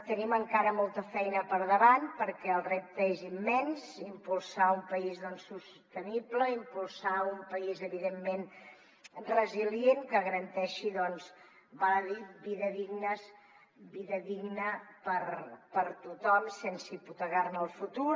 tenim encara molta feina per davant perquè el repte és immens impulsar un país sostenible impulsar un país evidentment resilient que garanteixi doncs val a dir vides dignes vida digna per a tothom sense hipotecar ne el futur